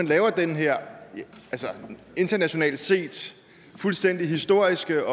laver den her internationalt set fuldstændig historiske